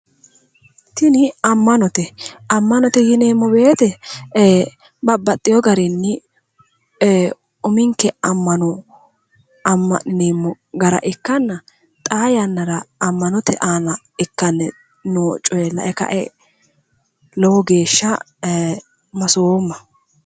tini ammanote ammanote yineemmo wote babbaxewo garinni ee uminke ammano amma'nineemmo gara ikkanna xaa yannara ammanote aana ikkanni noo coye lae kae lowo geeshsha masoomma.